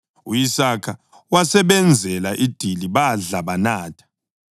U-Isaka wasebenzela idili, badla banatha.